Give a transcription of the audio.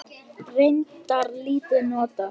Reyndar lítið notað.